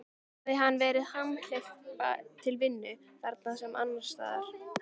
Hafi hann verið hamhleypa til vinnu, þarna sem annars staðar.